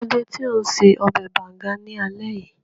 Kí ló dé tó un ṣe ọbẹ̀ bàùngá ní alé yìí?